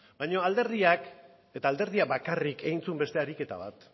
baino alderdiak eta alderdia bakarrik egin zuen beste ariketa bat